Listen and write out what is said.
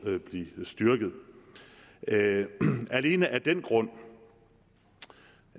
at blive styrket alene af den grund